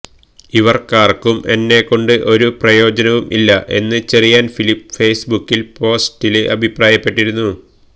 അവര്ക്കാര്ക്കും എന്നെകൊണ്ട് ഒരു പ്രയോജനവും ഇല്ല എന്ന് ചെറിയാന് ഫിലിപ്പ് ഫെയ്സ്ബുക്ക് പോസ്റ്റില് അഭിപ്രായപ്പെട്ടിരുന്നു